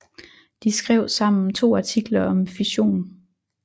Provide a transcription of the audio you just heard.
De skrev sammen to artikler om fission